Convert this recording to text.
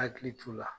Hakili t'o la